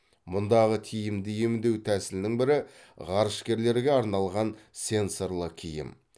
мұндағы тиімді емдеу тәсілінің бірі ғарышкерлерге арналған сенсорлы киім